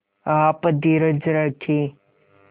आप धीरज रखें